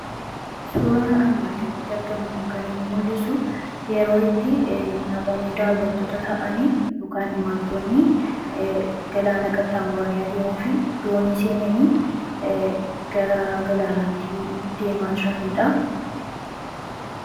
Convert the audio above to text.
Suuraan armaan gaditti argaamu kun kan inni mul'isu; yeroo itti namoonni daawwattoota ta'an yookiin imaaltoonni galaana qaxxaamuraanii adeemuu fi Doonii seenanii gara galaanaatti deemaa jiraniidha.